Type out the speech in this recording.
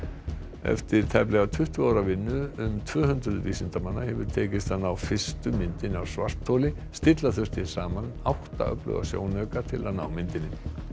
eftir tæplega tuttugu ára vinnu um tvö hundruð vísindamanna hefur tekist að ná fyrstu myndinni af svartholi stilla þurfti saman átta öfluga sjónauka til að ná myndinni